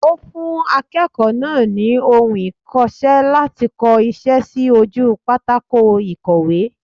Ó fún akéèkòó náà ni ohun ikose láti ko isé sí ojú pátákó ìkọ̀wé